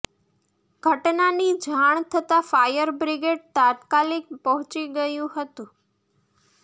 ઘટનાની જાણ થતાં ફાયર બ્રિગેડ તાત્કાલિક પહોંચી ગયું હતું